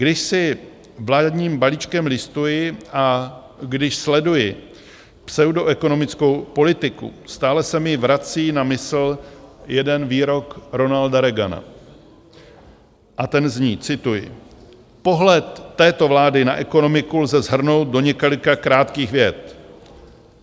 Když si vládním balíčkem listuji a když sleduji pseudoekonomickou politiku, stále se ji vrací na mysl jeden výrok Ronalda Reagana a ten zní, cituji: "Pohled této vlády na ekonomiku lze shrnout do několika krátkých vět.